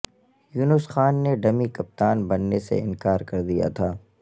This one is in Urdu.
یونس خان نے ڈمی کپتان ببنے سے انکار کر دیا تھا